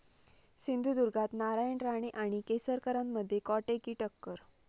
सिंधुदुर्गात नारायण राणे आणि केसरकरांमध्ये काँटे की टक्कर!